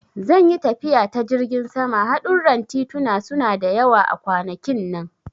Zan yi tafiya ta jirgin sama, hadurran tituna suna da yawa a kwanakin nan.